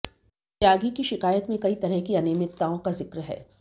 त्यागी की शिकायत में कई तरह की अनियमितताओं का जिक्र है